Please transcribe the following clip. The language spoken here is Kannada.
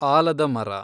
ಆಲದ ಮರ